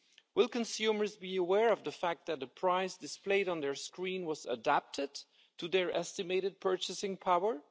Will consumers be aware of the fact that the price displayed on their screen was adapted to their estimated purchasing power?